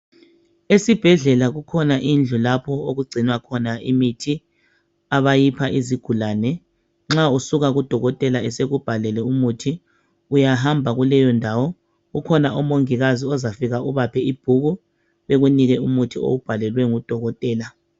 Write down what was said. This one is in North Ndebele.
Esibhedlela kukhona indlu lapho okugcinwa khona imithi. Abayipha izigulane, nxa usuka kudokotela esekubhàlele umuthi uyahamba kuleyo ndawo. Kukhona amongikazi ozafike ubaphe ibhuku ekunike umuthi owubhalelwe ngudokotela.